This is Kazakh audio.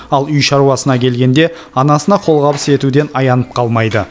ал үй шаруасына келгенде анасына қолғабыс етуден аянып қалмайды